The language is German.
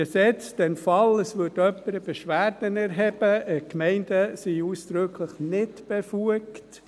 Gesetzt den Fall, jemand würde eine Beschwerde erheben – Gemeinden sind ausdrücklich befugt;